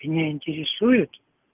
меня интересуют